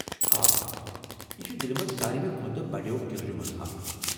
آ، یہِ چھُ دِلہِ منٛز ساروے کھۄتہٕ بَڈیو گِرجو منٛز اکھ ۔